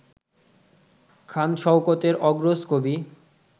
খান শওকতের অগ্রজ কবি